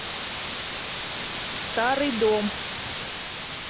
старый дом